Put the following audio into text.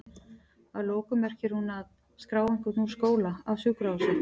Að lokum merkir hún að?skrá einhvern úr skóla, af sjúkrahúsi?